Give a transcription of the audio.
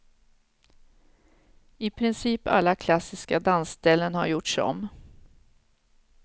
I princip alla klassiska dansställen har gjorts om.